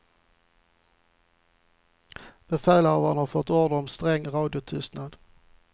Befälhavarna hade fått order om sträng radiotystnad.